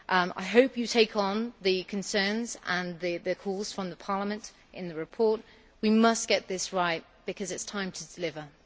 I hope you take on the concerns and the calls from Parliament in the report. We must get this right because it is time to deliver.